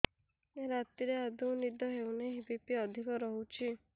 ରାତିରେ ଆଦୌ ନିଦ ହେଉ ନାହିଁ ବି.ପି ଅଧିକ ରହୁଛି